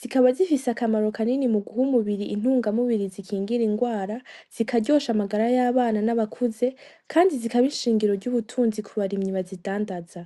zikaba zifise akamaro kanini muguha umubiri intungamubiri zikingira indwara zikaryosha amagara y’abana n’abakuze kandi zikaba ishingiro y’ubutunzi ku barimyi bazibadandaza .